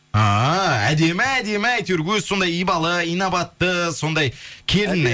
ааа әдемі әдемі әйтеуір өзі сондай ибалы инабатты сондай келін әй